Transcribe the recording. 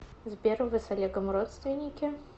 сбер вы с олегом родственники